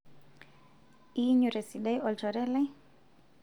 inyio tesidai olchore lai?